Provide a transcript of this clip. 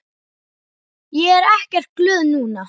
Ég er ekkert glöð núna.